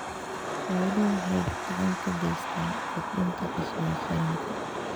Xooluhu waxay gacan ka geystaan ??kordhinta dakhliga qaranka.